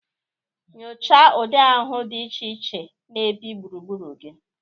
Nyochaa ụdị ahụhụ dị iche iche na-ebi gburugburu gị.